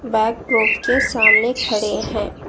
Backdrop के सामने खड़े हैं।